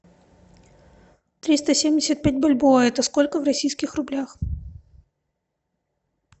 триста семьдесят пять бальбоа это сколько в российских рублях